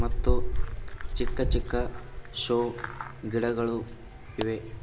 ಮತ್ತು ಚಿಕ್ಕ ಚಿಕ್ಕ ಶೋ ಗಿಡಗಳು ಇವೆ.